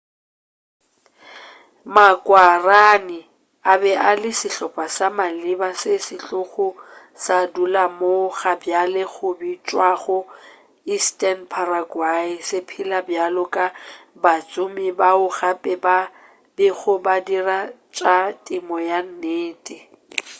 ma-guaraní a be a le sehlopa sa maleba sa setlogo sa go dula moo gabjale go bitšwago eastern paraguay se phela bjalo ka batsomi bao gape ba bego ba dira tša temo ya nnete